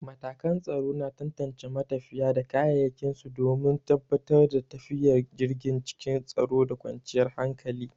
Matakan tsaro na tantance matafiya da kayayyakin su domin tabbatar da tafiyar jirgi cikin tsaro da kwanciyar hankali.